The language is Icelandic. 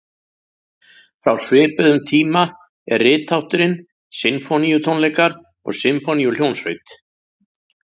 Frá svipuðum tíma er rithátturinn sinfóníutónleikar og sinfóníuhljómsveit.